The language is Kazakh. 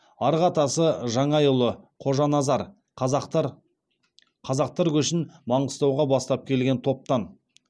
арғы атасы жаңайұлы қожаназар қазақтар қазақтар көшін маңғыстауға бастап келген топтан